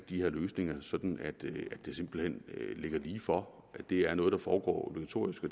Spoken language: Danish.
de her løsninger sådan at det simpelt hen ligger lige for at det er noget der foregår elektronisk og